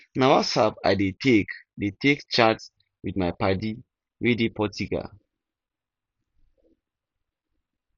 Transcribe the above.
na whatsapp i dey take dey take chat with my paddy wey dey portugal